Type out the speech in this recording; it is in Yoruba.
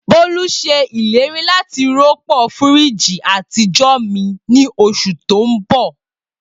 Bolu ṣe ileri lati rọpo firiji atijọ mi ni oṣu ti n bọ.